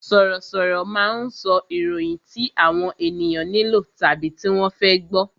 Sọ̀rọ̀ sọ̀rọ̀ máa ń sọ ìròyìn tí àwọn ènìyàn nílò tàbí tí wọ́n fẹ́ gbọ